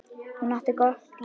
Hún átti gott líf.